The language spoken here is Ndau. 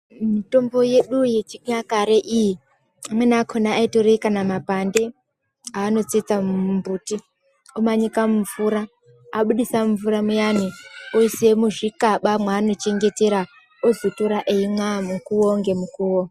Mitombo yedu yechinyakare iyi, amweni akona aitore kana mapande, aanotsetsa mumbuti, omanyika mumvura, abudisa mvura muyani, oise muzvikaba mwaanochengetera, ozotora eimwa mukuwo ngemukuwo.